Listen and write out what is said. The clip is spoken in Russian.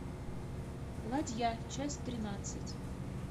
ладья часть тринадцать